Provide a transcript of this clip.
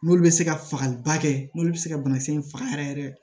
N'olu bɛ se ka fagaliba kɛ n'olu bɛ se ka banakisɛ in faga yɛrɛ yɛrɛ